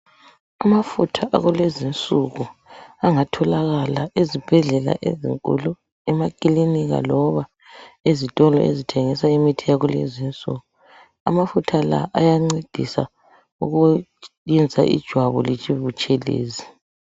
Amafutha akulezinsuku angatholakala ezibhedlela ezinkulu, emakilinika loba ezitolo ezithengiswa imithi yakulezi insuku. Amafutha la ayancedisa ukwenza ijwabu libebutshelezi.